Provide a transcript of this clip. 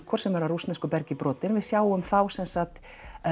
Igor sem er af rússnesku bergi brotinn við sjáum þá sem sagt